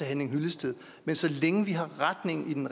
henning hyllested men så længe retningen